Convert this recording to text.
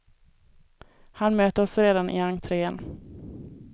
Han möter oss redan i entrén.